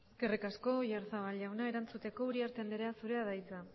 eskerrik asko oyarzabal jauna erantzuteko uriarte andrea zurea da hitza